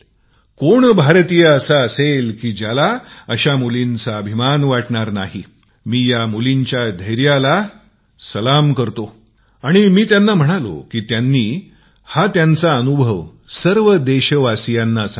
कोण भारतीय असेल ज्याला अश्या मुलींचा गर्व वाटणार नाही मी या मुलींच्या हिंमतीला सलाम करतो आणि मी त्यांना म्हाणालो त्यांनी हा अनुभव सर्व देशवासियांना सांगावा